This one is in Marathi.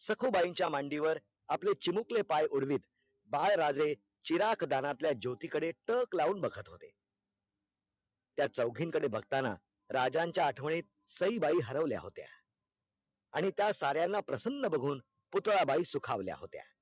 बाळ राजे चिराग दानातल्या ज्योती कडे टक लाऊन बघत होते, त्या चौघीन कडे बघताना राजांच्या आठवणीत सहीबाई हरवल्या होत्या, आणि त्या सार्यांना प्रसन्ना बघून पुतळाबाई सुखावल्या होत्या